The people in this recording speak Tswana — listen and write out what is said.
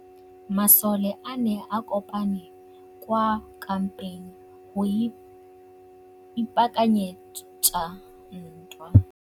Masole a ne a kopane kwa kampeng go ipaakanyetsa ntwa.